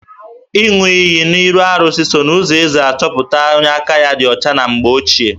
Ịṅụ iyi n'arụsị so n'ụzọ e si achọpụta onye aka ya dị ọcha na mgbe ochie